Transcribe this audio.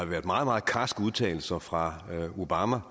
været meget meget karske udtalelser fra obama